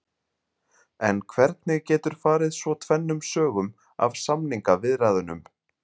En hvernig getur farið svo tvennum sögum af samningaviðræðunum?